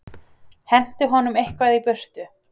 Henti honum eitthvað í burtu.